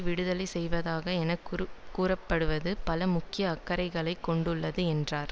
விடுதலை செய்வது என கூறப்படுதவது பல முக்கிய அக்கறைகளைக் கொண்டுள்ளது என்றார்